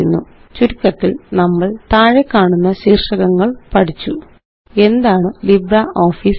ചുരുക്കത്തില് നമ്മള് താഴെക്കാണുന്ന ശീര്ഷകങ്ങള് പഠിച്ചു എന്താണ് ലിബ്രിയോഫീസ് മാത്ത്